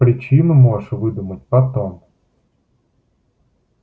причину можешь выдумать потом